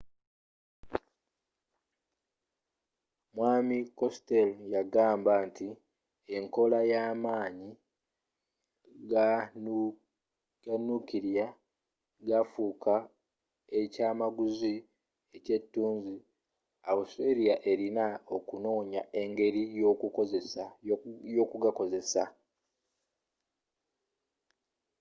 mwaami costello yagamba nti enkola y'amaanyi ganukilya gafuuka ekyamaguzi ekyetunzi australia elina okunoonya engeri yokugakozesa